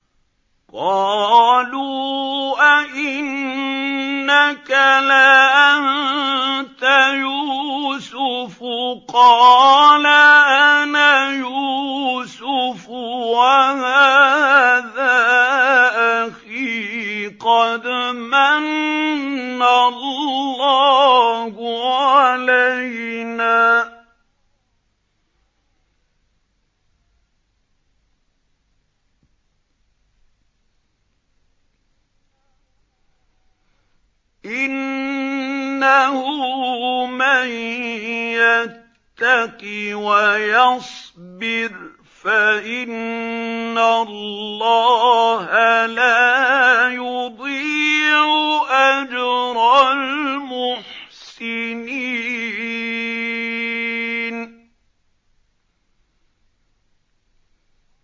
قَالُوا أَإِنَّكَ لَأَنتَ يُوسُفُ ۖ قَالَ أَنَا يُوسُفُ وَهَٰذَا أَخِي ۖ قَدْ مَنَّ اللَّهُ عَلَيْنَا ۖ إِنَّهُ مَن يَتَّقِ وَيَصْبِرْ فَإِنَّ اللَّهَ لَا يُضِيعُ أَجْرَ الْمُحْسِنِينَ